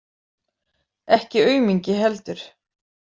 Ekki aumingi heldur.